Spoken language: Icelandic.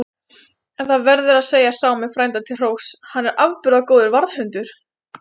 En það verður að segja Sámi frænda til hróss, að hann er afburða góður varðhundur.